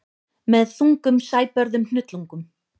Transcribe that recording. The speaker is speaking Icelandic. Með þungum sæbörðum hnullungum.